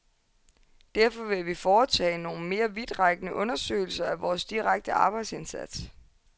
Derfor vil vi foretage nogle mere vidtrækkende undersøgelser af vores direkte arbejdsindsats.